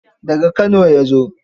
Da ga Kano ya zo.